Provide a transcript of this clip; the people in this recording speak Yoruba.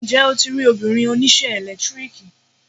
Ǹjẹ́ o ti rí obìnrin oníṣẹ́ ẹ̀lẹ́tíríkì?